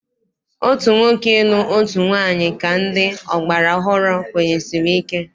Otu nwoke ịlụ otu nwaanyị ka ndị ọgbara ọhụrụ kwenyesiri ike.